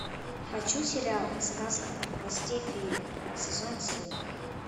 хочу сериал сказка о хвосте феи сезон семь